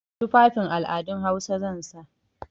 Tufafin al'adun Hausa zan sa.